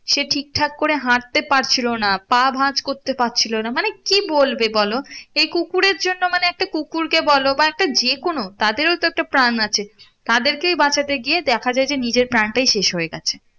সে ঠিক ঠাক করে হাটতে পারছিলো না পা ভাজ করতে পারছিলো না মানে কি বলবে বলো এই কুকুরের জন্য মানে একটা কুকুরকে বলো বা একটা যে কোনো তাদের ও তো একটা প্রাণ আছে তাদেরকেই বাঁচাতে গিয়ে দেখা যায় যে নিজের প্রাণটাই শেষ হয়ে গেছে